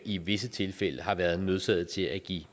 i visse tilfælde har været nødsaget til at give